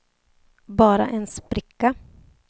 bara en spricka